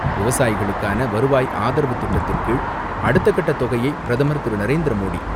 விவசாயிகளுக்கான வருவாய் ஆதரவு திட்டத்தின்கீழ் அடுத்தக்கட்ட தொகையை பிரதமர் திரு. நரேந்திர மோடி,